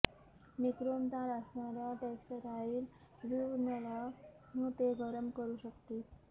nichrome तार असणाऱ्या textile वूवनला ते गरम करू शकतील